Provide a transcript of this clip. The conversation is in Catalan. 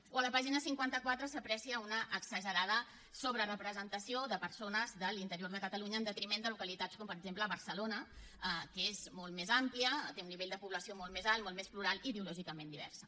o a la pàgina cinquanta quatre s’aprecia una exagerada sobrerepresentació de persones de l’interior de catalunya en detriment de localitats com per exemple barcelona que és molt més àmplia té un nivell de població molt més alt molt més plural i ideològicament diversa